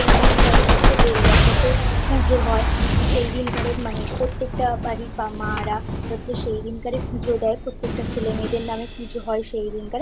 সেই দিনকারে হচ্ছে বেল গাছেতে পুজো হয় সেই দিনকরে মানে প্রত্যেকটা বাড়ির মায়েরা হচ্ছে সেই দিনকারে পুজো দেয় প্রত্যেকটা ছেলে মেয়েদের নামে পুজো হয়